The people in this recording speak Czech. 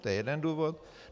To je jeden důvod.